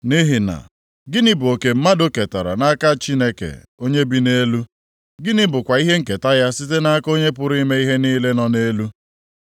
Nʼihi na, gịnị bụ oke mmadụ ketara nʼaka Chineke onye bi nʼelu; gịnị bụkwa ihe nketa ya site nʼaka Onye pụrụ ime ihe niile nọ nʼelu?